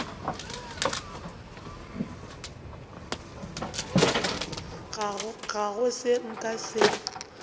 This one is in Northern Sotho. ga go seo nka se